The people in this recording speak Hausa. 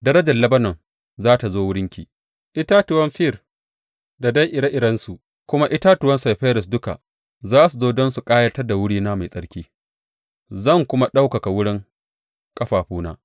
Darajar Lebanon za tă zo wurinki, itatuwan fir da dai ire irensu da kuma itatuwan saifires duka za su zo don su ƙayatar da wurina mai tsarki; zan kuma ɗaukaka wurin ƙafafuna.